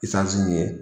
Izanzi nin ye